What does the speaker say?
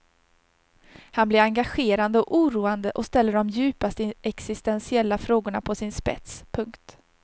Han blir engagerande och oroande och ställer de djupaste existentiella frågorna på sin spets. punkt